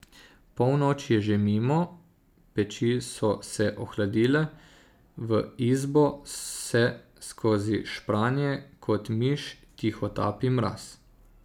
Polnoč je že mimo, peči so se ohladile, v izbo se skozi špranje kot miš tihotapi mraz.